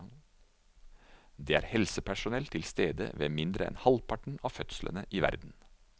Det er helsepersonell til stede ved mindre enn halvparten av fødslene i verden.